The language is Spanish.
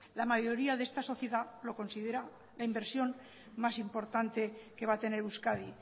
la mayoría de esta sociedad lo considera la inversión más importante que va a tener euskadi